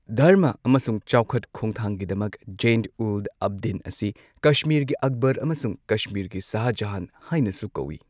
ꯙꯔꯃ ꯑꯃꯁꯨꯡ ꯆꯥꯎꯈꯠꯈꯣꯡꯊꯥꯡꯒꯤꯗꯃꯛ ꯖꯦꯟ ꯎꯜ ꯑꯕꯗꯤꯟ ꯑꯁꯤ ꯀꯥꯁꯃꯤꯔꯒꯤ ꯑꯛꯕꯔ ꯑꯃꯁꯨꯡ ꯀꯥꯁꯃꯤꯔꯒꯤ ꯁꯥꯍꯖꯥꯍꯥꯟ ꯍꯥꯏꯅꯁꯨ ꯀꯧꯋꯤ꯫